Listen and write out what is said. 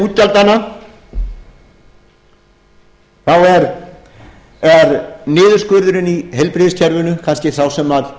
þegar horft er til útgjaldanna er niðurskurðurinn í heilbrigðiskerfinu kannski sá sem